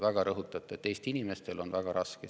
Te rõhutate, et Eesti inimestel on väga raske.